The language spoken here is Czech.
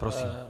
Prosím.